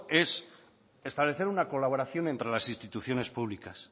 es establecer una colaboración entre las instituciones públicas